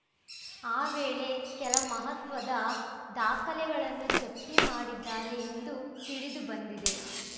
ಆ ವೇಳೆ ಕೆಲ ಮಹತ್ವದ ದಾಖಲೆಗಳನ್ನು ಜಪ್ತಿ ಮಾಡಿದ್ದಾರೆ ಎಂದು ತಿಳಿದು ಬಂದಿದೆ